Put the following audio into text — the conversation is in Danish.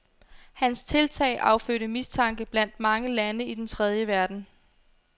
Hans tiltag affødte mistanke blandt mange lande i den tredje verden.